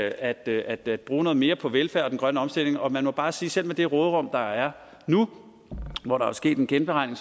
at at bruge noget mere på velfærd og den grønne omstilling og man må bare sige at selv med det råderum der er nu hvor der er sket en genberegning